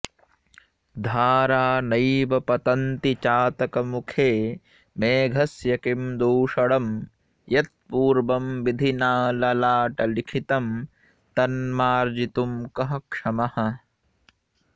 धारा नैव पतन्ति चातकमुखे मेघस्य किं दूषणं यत्पूर्वं विधिना ललाटलिखितं तन्मार्जितुं कः क्षमः